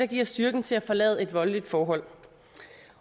giver styrken til at forlade et voldeligt forhold